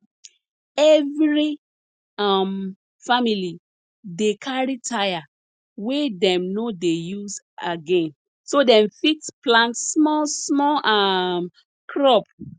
efiri um famili dey carry tyre wey dem no dey use again so dem fit plant small small um crop